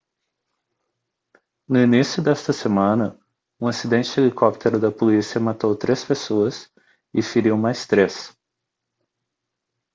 no início desta semana um acidente de helicóptero da polícia matou três pessoas e feriu mais três